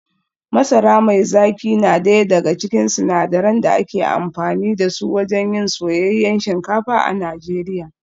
Masara mai zaki na daya daga cikin sinadaran da ake amfani da su wajen yin soyayyen shinkafa a Najeriya